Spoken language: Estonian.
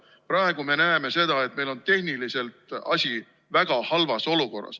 Praegu me näeme seda, et meil on tehniliselt asi väga halvas olukorras.